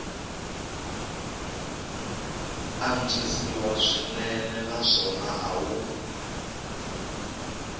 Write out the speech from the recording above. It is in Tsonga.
antswisiwa swinene naswona a wu